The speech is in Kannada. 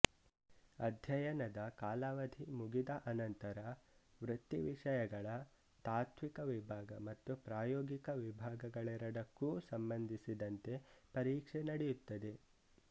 ಅಧ್ಯಯನದ ಕಾಲಾವಧಿ ಮುಗಿದ ಅನಂತರ ವೃತ್ತಿವಿಷಯಗಳ ತಾತ್ತ್ವಿಕ ವಿಭಾಗ ಮತ್ತು ಪ್ರಾಯೋಗಿಕ ವಿಭಾಗಗಳೆರಡಕ್ಕೂ ಸಂಬಂಧಿಸಿದಂತೆ ಪರೀಕ್ಷೆ ನಡೆಯುತ್ತದೆ